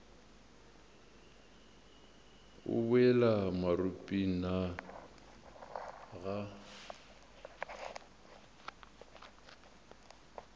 o boela maropeng na ga